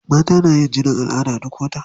Mata na yin jinin al'ada duk wata.